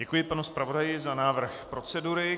Děkuji panu zpravodaji za návrh procedury.